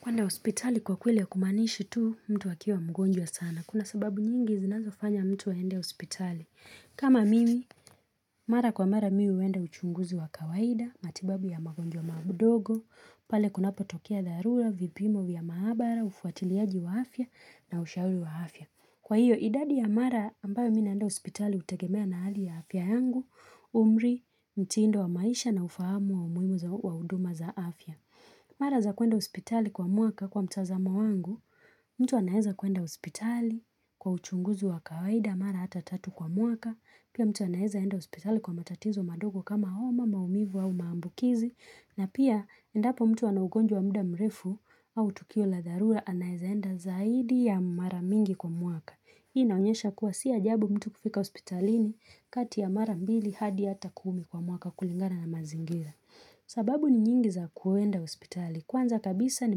Kwenda hospitali kwa kweli hakumaanishi tu mtu akiwa mgonjwa sana. Kuna sababu nyingi zinazofanya mtu aende hospitali. Kama mimi, mara kwa mara mimi huenda uchunguzi wa kawaida, matibabu ya magonjwa madogo, pale kunapotokea dharura, vipimo vya maabara, ufuatiliaji wa afya na ushauri wa afya. Kwa hiyo idadi ya mara ambayo mimi naenda hospitali hutegemea na hali ya afya yangu, umri, mtindo wa maisha na ufahamu wa umuhimu wa huduma za afya. Mara za kuenda hospitali kwa mwaka kwa mtazamo wangu, mtu anaweza kwenda hospitali kwa uchunguzi wa kawaida mara hata tatu kwa mwaka, Pia mtu anaweza enda hospitali kwa matatizo madogo kama homa maumivu au maambukizi. Na pia endapo mtu ana ugonjwa wa muda mrefu au tukio la dharura anaweza enda zaidi ya mara mingi kwa mwaka. Hii naonyesha kuwa si ajabu mtu kufika hospitalini kati ya mara mbili hadi ata kumi kwa mwaka kulingana na mazingira. Sababu ni nyingi za kuenda hospitali. Kwanza kabisa ni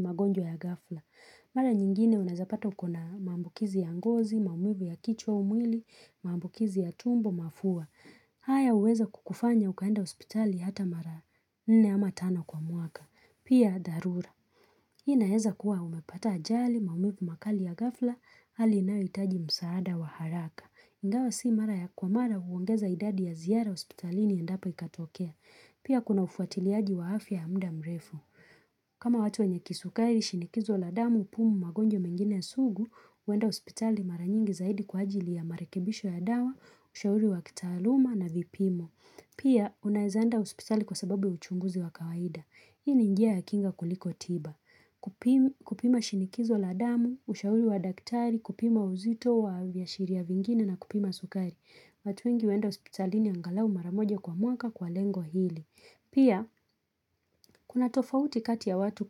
magonjwa ya ghafla. Mara nyingine unaweza pata uko na mambukizi ya ngozi, maumivu ya kichwa au mwili, maumivu ya tumbo, mafua. Haya huweza kukufanya ukaenda hospitali hata mara nne ama tano kwa mwaka. Pia dharura. Inaeza kuwa umepata ajali, maumivu makali ya ghafla, hali inayohitaji msaada wa haraka. Ingawa si mara ya kwa mara huongeza idadi ya ziara hospitalini endapo ikatokea. Pia kuna ufuatiliaji wa afya ya muda mrefu. Kama watu wenye kisukari, shinikizo la damu, pumu magonjwa mengine ya sugu, huenda hospitali mara nyingi zaidi kwa ajili ya marekebisho ya dawa, ushauri wa kitaaluma na vipimo. Pia, unaweza enda hospitali kwa sababu ya uchunguzi wa kawaida. Hii ni njia ya kinga kuliko tiba, kupimwa kupima shinikizo la damu, ushauri wa daktari, kupima uzito wa vya shiria vingine na kupima sukari. Watu wengi huenda hospitalini angalau mara moja kwa mwaka kwa lengo hili. Pia, kuna tofauti kati ya watu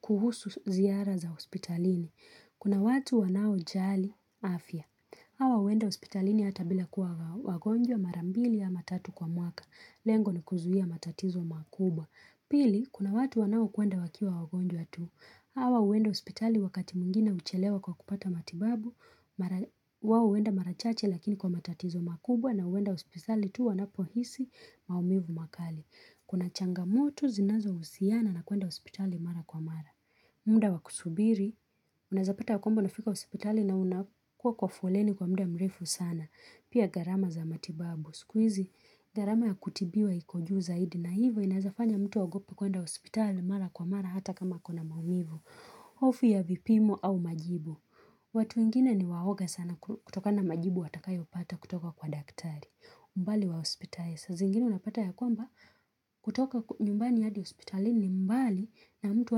kuhusu ziara za hospitalini. Kuna watu wanaojali, afya. Hawa huenda hospitalini hata bila kuwa wagonjwa mara mbili ama tatu kwa mwaka. Lengo ni kuzuia matatizo makubwa. Pili, kuna watu wanaokwenda wakiwa wagonjwa tu. Hawa uenda ospitali wakati mungina uchelewa kwa kupata matibabu. Wao huenda mara chache lakini kwa matatizo makubwa na huenda hospitali tu wanapohisi maumivu makali. Kuna changamoto zinazohusiana na kwenda hospitali mara kwa mara. Muda wa kusubiri, unaweza pata kwamba unafika hospitali na unakuwa kwa foleni kwa muda mrefu sana. Pia gharama za matibabu, siku hizi, gharama ya kutibiwa iko juu zaidi na hivyo inaweza fanya mtu aogope kwenda hospitali mara kwa mara hata kama uko na maumivu Ofi ya vipimo au majibu watu wengine ni waoga sana kutokana majibu watakayopata kutoka kwa daktari mbali wa hospitaliz zingine unapata ya kwamba kutoka nyumbani hadi hospitali ni mbali na mtu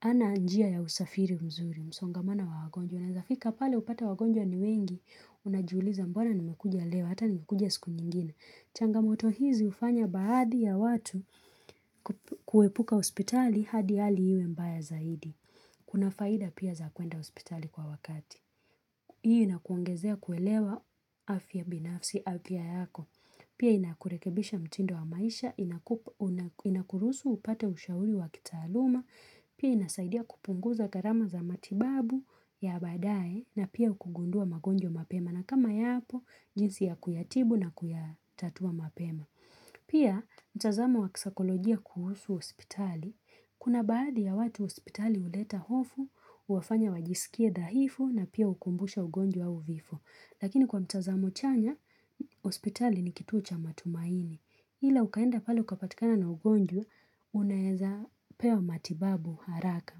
hana njia ya usafiri mzuri, msongamano wa wagonjwa. Unaweza fika pale upate wagonjwa ni wengi, unajuliza mbona nimekuja leo, hata nimekuja siku nyingine. Changamoto hizi hufanya baadhi ya watu kuepuka hospitali hadi hali iwe mbaya zaidi. Kuna faida pia za kwenda hospitali kwa wakati. Hii inakuongezea kuelewa afya binafsi, afya yako. Pia inakurekebisha mtindo wa maisha, inakuruhusu upate ushauri wa kitaaluma, pia inasaidia kupunguza gharama za matibabu ya baadaye na pia kugundua magonjwa mapema na kama yapo jinsi ya kuyatibu na kuyatatua mapema. Pia mtazamo wa kisakolojia kuhusu hospitali. Kuna baadhi ya watu hospitali huleta hofu, huwafanya wajisikie dhahifu na pia hukumbusha ugonjwa au vifo. Lakini kwa mtazamo chanya, hospitali ni kituo cha matumaini. Ila ukaenda pale ukapatikana na ugonjwa, unaweza pewa matibabu haraka.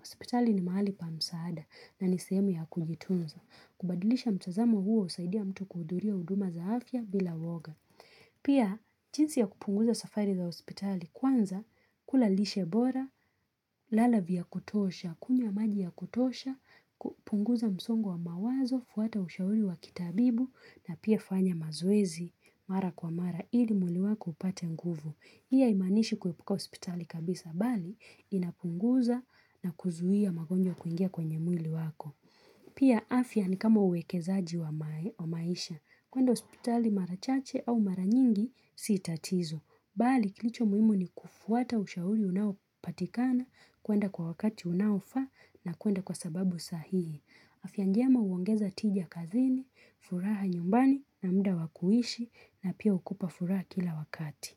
Hospitali ni mahali pa msaada na ni sehemu ya kujitunza. Kubadilisha mtazamo huo husaidia mtu kuhudhuria huduma za afya bila woga. Pia jinsi ya kupunguza safari za hospitali kwanza kula lishe bora, lala vya kutosha, kunywa maji ya kutosha, kupunguza msongo wa mawazo, fuata ushauri wa kitabibu na pia fanya mazoezi mara kwa mara ili mwili wako upate nguvu. Hii haimanishi kuepuka hospitali kabisa, bali inapunguza na kuzuia magonjwa kuingia kwenye mwili wako. Pia afya ni kama uwekezaji wa maisha, kwenda hospitali mara chache au mara nyingi si tatizo. Bali kilicho muhimu ni kufuata ushauri unaopatikana, kwenda kwa wakati unaofaa na kwenda kwa sababu sahihi. Afya njema huongeza tiji kazini, furaha nyumbani na muda wa kuishi na pia hukupa furaha kila wakati.